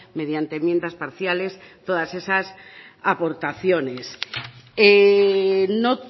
mediante enmiendas parciales todas esas aportaciones no